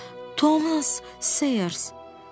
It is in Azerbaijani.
Thomas Sayers, Ser.